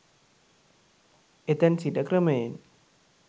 එතැන් සිට ක්‍රමයෙන්